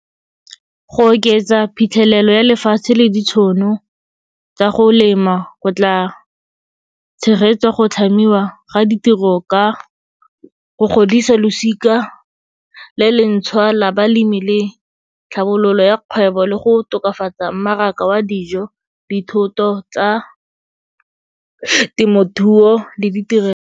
Go oketsa phitlhelelo ya lefatshe le ditšhono tsa go lema go tla tshegetsa go tlhamiwa ga ditiro ka go godisa losika le le ntšhwa la balemi le tlhabololo ya kgwebo, le go tokafatsa mmaraka wa dijo, dithoto tsa temothuo le ditirelo.